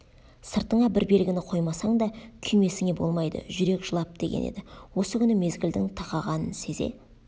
сыртыңа бір белгіні қоймасаң да күймесіңе болмайды жүрек жылап деген еді осы күні мезгілдің тақағанын сезе